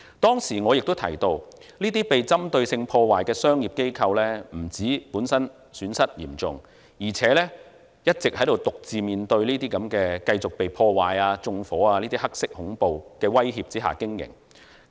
當時我亦提到，這些被針對性破壞的商業機構，不但損失嚴重，而且一直獨自面對被繼續破壞、縱火等"黑色恐怖"的威脅下經營。